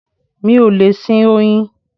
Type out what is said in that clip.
Mi ò lè sin oyin